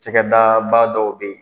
Cɛkɛda ba dɔ bɛ yen